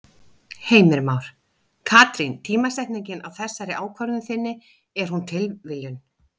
Heimir Már: Katrín tímasetningin á þessari ákvörðun þinni, er hún tilviljun?